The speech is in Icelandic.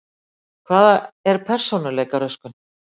Hvað er persónuleikaröskun?